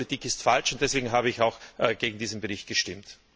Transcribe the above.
Die EU Politik ist falsch, und deshalb habe ich auch gegen diesen Bericht gestimmt.